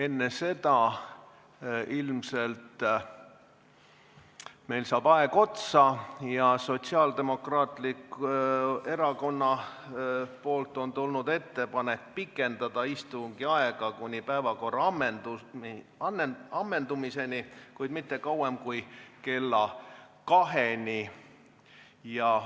Enne seda ilmselt meil saab aeg otsa ja Sotsiaaldemokraatlikult Erakonnalt on tulnud ettepanek pikendada istungi aega kuni päevakorra ammendumiseni, kuid mitte kauem kui kella kaheni.